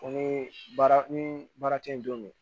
Ko ni baara ni baara tɛ don min